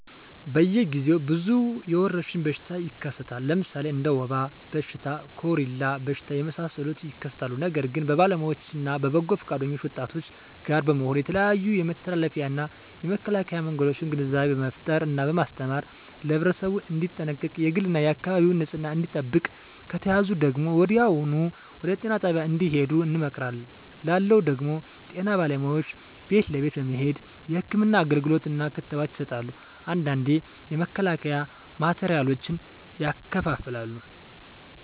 በየ ግዜው ብዙ የወረሽኝ በሽታ ይከሰታል ለምሣሌ እንደ ወባ በሽታ ኮሪላ በሽታ የመሣሠሉት ይከሠታሉ ነገር ግን በባለውያዎች እነ በበጎ ፈቃደኞች ወጣቶች ጋር በመሆን የተለያዮ የመተላለፊያ እና የመከላኪያ መንገዶችን ግንዛቤ በመፍጠር እና በማስተማር ለህብረተሠቡ እንዲጠነቀቅ የግል እና የአካባቢውን ንፅህና እንዲጠብቅ ከተያዙ ደግሞ ወዲያሁኑ ወደጤና ጣቢያ እንድሄዱ እንመክራለን ላለው ደግም ጤና ባለሙያዎች ቤት ለቤት በመሄድ ህክምና አገልግሎት እና ክትባት ይሠጣሉ አንዳንዴ የመከላከያ ማቴሪያሎችን ያከፋፍላሉ